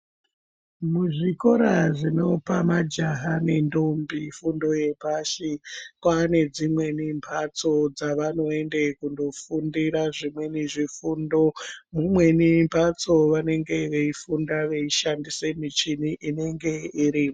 Muzvikora zvinopa majaha nendombi fundo yepashi, kwaa nedzimweni mbatso dzavanoende kundofundira zvimweni zvifundo. Mumweni mbatso vanenge veifunda veishandise michini inenge iri..